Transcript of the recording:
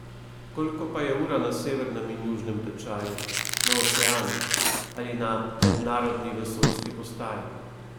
Koliko pa je ura na severnem in južnem tečaju, na oceanih ali na Mednarodni vesoljski postaji?